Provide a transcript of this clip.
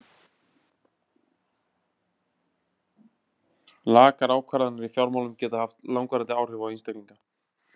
Lakar ákvarðanir í fjármálum geta haft langvarandi áhrif á einstaklinga.